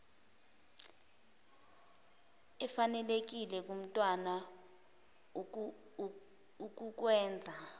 efanelekile kumntwana ukukwenza